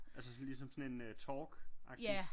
Altså sådan ligesom sådan en talkagtig?